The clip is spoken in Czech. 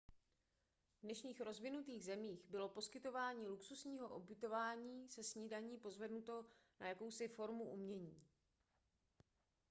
v dnešních rozvinutých zemích bylo poskytování luxusního ubytování se snídaní pozvednuto na jakousi formu umění